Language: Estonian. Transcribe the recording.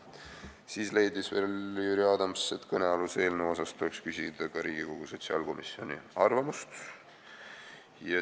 Jüri Adams leidis veel, et kõnealuse eelnõu kohta tuleks küsida ka Riigikogu sotsiaalkomisjoni arvamust.